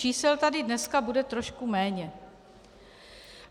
Čísel tady dneska bude trošku méně.